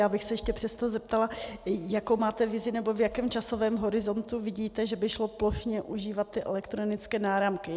Já bych se ještě přesto zeptala, jakou máte vizi, nebo v jakém časovém horizontu vidíte, že by šlo plošně užívat ty elektronické náramky.